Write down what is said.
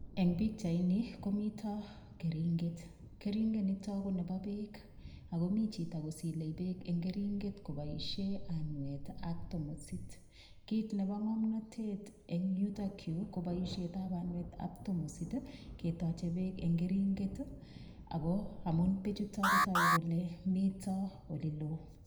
Eng pichaini komito keringet, keringenitok ko nebo beek, akomi chito kotochei beek koboishe anwet ak tomosit. Kit nebo ng'omnotet eng yutokyu koboishetab anwet ak tomosit ketoche beek eng keringet amu beechutok kotogu kole mito oleloo.